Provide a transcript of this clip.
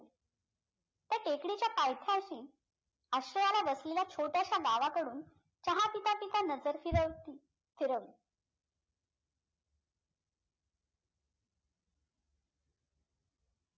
ते टेकडीच्या पायथ्याशी बसलेल्या गावाकडून चहा पिता पिता नझर फिरवती फिरव